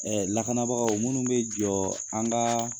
lakanabagaw minnu bɛ jɔ an ka